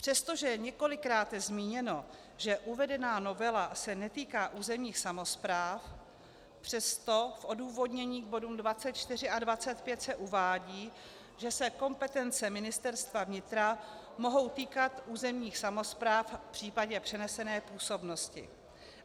Přestože je několikráte zmíněno, že uvedená novela se netýká územních samospráv, přesto v odůvodnění k bodům 24 a 25 se uvádí, že se kompetence Ministerstva vnitra mohou týkat územních samospráv v případě přenesené působnosti.